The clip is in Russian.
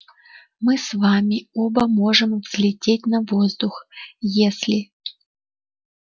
мы с вами оба можем взлететь на воздух если